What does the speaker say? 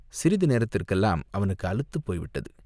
சிறிது நேரத்துக்கெல்லாம் அவனுக்கு அலுத்துப் போய்விட்டது.